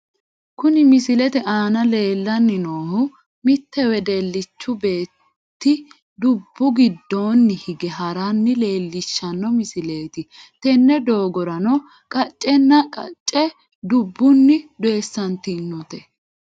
Kuni misilete aana leellanni noohu mittu wedellichu beetti dubbu giddoonni hige haranna leelishshanno misileeti, tenne doogorano qaccenna qacce dubbunni doyiissantinote.